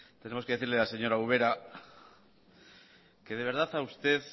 tenemos que decirle a la señora ubera que de verdad a usted